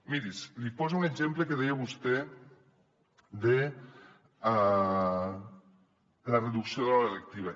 miri li poso un exemple del que deia vostè de la reducció de la lectiva